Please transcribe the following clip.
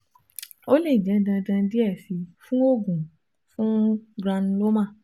O le jẹ dandan diẹ sii fun oogun fun granuloma